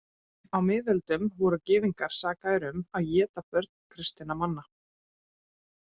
Á miðöldum voru gyðingar sakaðir um að éta börn kristinna manna.